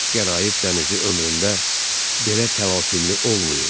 Qəraib dənizi ömründə belə təlatümlü olmayıb.